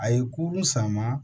A ye kurun sama